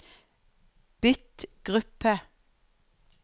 bytt gruppe